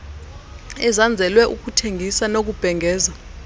ezanzelwe ukuthengisa nokubhengeza